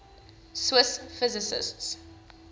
swiss physicists